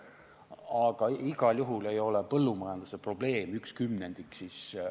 Aga igal juhul ei ole põllumajanduse probleem 1/10 kogu majanduse probleemist.